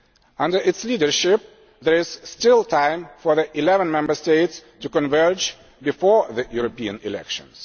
file. Under its leadership, there is still time for the eleven Member States to converge before the European elections.